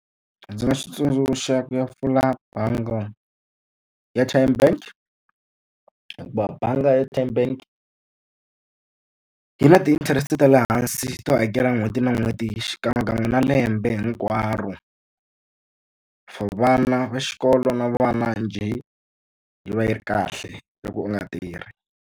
Ndzi nga xi tsundzuxaka ya pfula bangi ya Tyme Bank. Hikuva bangi ya Tyme Bank yi na ti-interest ta le hansi to hakela n'hweti na n'hweti xikan'wekan'we na lembe hinkwaro. For vana va xikolo na vana njhe, yi va yi ri kahle loko u nga tirhi.